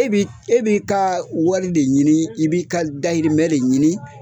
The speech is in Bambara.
E b'i e b'i ka wari de ɲini, i b'i ka dahirimɛ de ɲini